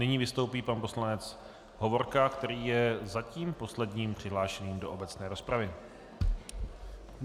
Nyní vystoupí pan poslanec Hovorka, který je zatím posledním přihlášeným do obecné rozpravy.